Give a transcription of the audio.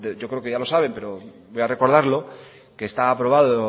yo creo que ya lo saben pero voy a recordarlo que está aprobado